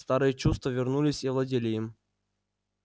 старые чувства вернулись и овладели им